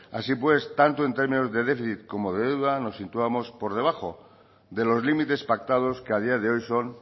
así pues tanto en términos de déficit como de deuda nos situamos por debajo de los límites pactados que a día de hoy son